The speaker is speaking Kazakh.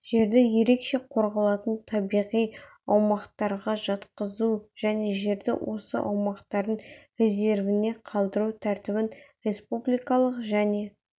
жерді ерекше қорғалатын табиғи аумақтарға жатқызу және жерді осы аумақтардың резервіне қалдыру тәртібін республикалық және